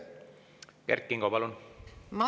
Kert Kingo, palun!